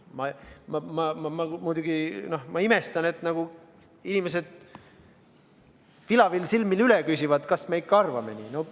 Ma muidugi imestan, et inimesed vilavil silmil üle küsivad, kas me ikka arvame nii.